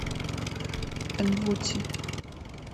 энвути